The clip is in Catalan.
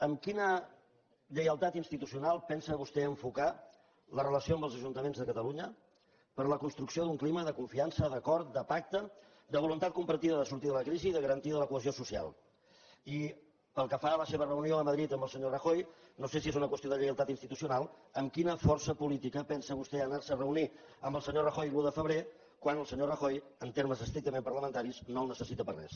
amb quina lleialtat institucional pensa vostè enfocar la relació amb els ajuntaments de catalunya per a la construcció d’un clima de confiança d’acord de pacte de voluntat compartida de sortir de la crisi i de garantia de la cohesió social i pel que fa a la seva reunió a madrid amb el senyor rajoy no sé si és una qüestió de lleialtat institucional amb quina força política pensa vostè anar se a reunir amb el senyor rajoy l’un de febrer quan el senyor rajoy en termes estrictament parlamentaris no el necessita per a res